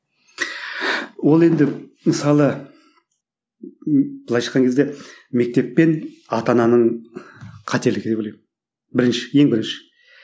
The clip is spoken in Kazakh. ол енді мысалы былайша айтқан кезде мектеп пен ата ананың қателігі деп ойлаймын бірінші ең бірінші